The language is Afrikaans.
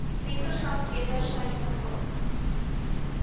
mentorskap wedersydse hulp